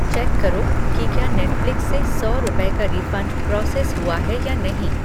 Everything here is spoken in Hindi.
चेक करो की क्या नेटफ़्लिक्स से सौ रुपये का रिफ़ंड प्रोसेस हुआ है या नहीं!